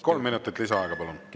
Kolm minutit lisaaega, palun!